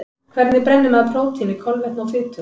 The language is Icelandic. Hvernig brennir maður prótíni, kolvetni og fitu?